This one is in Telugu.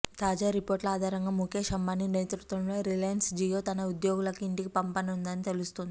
తాజా రిపోర్టుల ఆధారంగా ముకేశ్ అంబానీ నేతృత్వంలోని రిలయన్స్ జియో తన ఉద్యోగులను ఇంటికి పంపనుందని తెలుస్తోంది